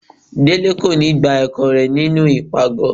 Délé kò ní gbá ẹkọ rẹ nínú ipágọ.